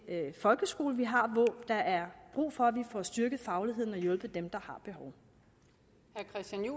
folkeskole vi har hvor der er brug for at vi får styrket fagligheden og hjulpet dem der